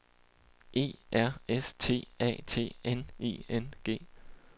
E R S T A T N I N G